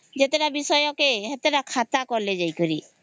ଯେତେ ତା ବିଷୟ କେ ସେତେ ତା ଖାତା କଲେ ଯାଇ କରି